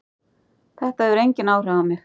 Þetta hefur engin áhrif á mig.